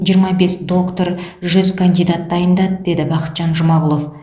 жиырма бес доктор жүз кандидат дайындады деді бақытжан жұмағұлов